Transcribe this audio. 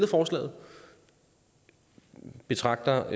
forslaget betragter